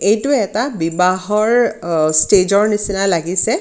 এইটো এটা বিবাহৰ আ ষ্টেজ ৰ নিচিনা লাগিছে.